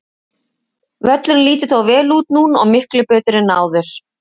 Völlurinn lítur þó vel út núna og miklu betur en áður.